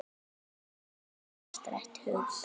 Fegurð er afstætt hugtak.